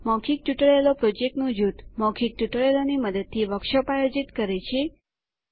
મૌખિક ટ્યુટોરિયલો પ્રોજેક્ટ નું જૂથ મૌખિક ટ્યુટોરિયલોની મદદથી વર્કશોપ આયોજિત કરે છે